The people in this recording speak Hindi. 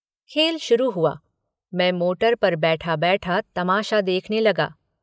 खेल शुरू हुआ। मैं मोटर पर बैठाबैठा तमाशा देखने लगा।